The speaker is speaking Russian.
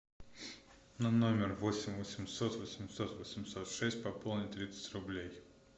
на номер восемь восемьсот восемьсот восемьсот шесть пополни тридцать рублей